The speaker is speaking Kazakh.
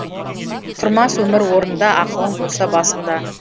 тұрмас өмір орнында ақылың болса басыңда